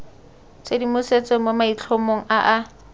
tshedimosetso mo maitlhomong a a